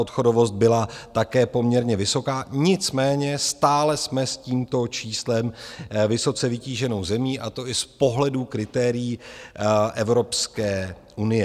Odchodovost byla také poměrně vysoká, nicméně stále jsme s tímto číslem vysoce vytíženou zemí, a to i z pohledu kritérií Evropské unie.